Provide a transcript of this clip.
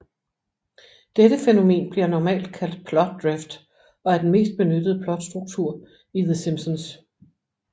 Dette fænomen bliver normalt kaldt plot drift og er den mest benyttede plotstruktur i The Simpsons